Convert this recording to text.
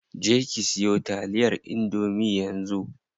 Je ki siyo taliyar indomie yanzu.